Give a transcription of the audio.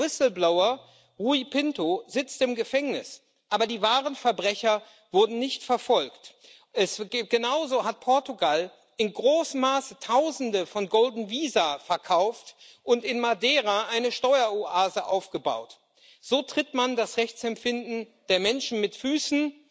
Der Whistleblower, Rui Pinto, sitzt im Gefängnis, aber die wahren Verbrecher wurden nicht verfolgt. Genauso hat Portugal in großem Maße Tausende von golden visa verkauft und in Madeira eine Steueroase aufgebaut. So tritt man das Rechtsempfinden der Menschen mit Füßen,